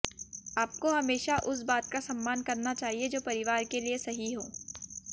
आपको हमेशा उस बात का सम्मान करना चाहिए जो परिवार के लिए सही हो